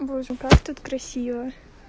боже как тут красиво